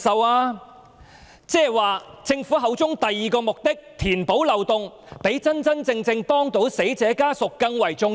換言之，政府口中的第二個目的，即填補漏洞，是否較真真正正協助死者家屬更為重要？